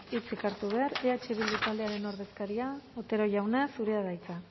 hitzik hartu behar eh bildu taldearen ordezkaria otero jauna zurea da hitza